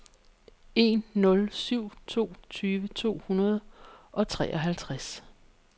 en nul syv to tyve to hundrede og treoghalvtreds